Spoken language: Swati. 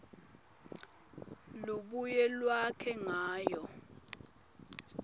lubuye lwakhe ngayo